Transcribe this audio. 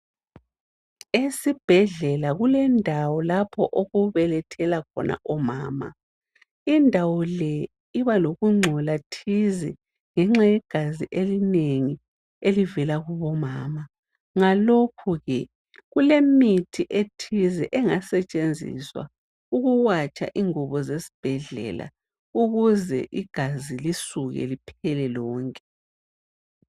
Esibhedlela kulendawo lapho okubelethela khona omama. Indawo le iba lokungcola thize ngenxa yegazi linengi elivela kubomama. Ngalokho ke, kulemithi ethize engasetshenziswa ukuwatsha ingubo zesbhedlela, ukuze igazi lisuke liphele lonke.